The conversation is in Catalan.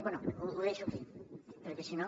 bé ho deixo aquí perquè si no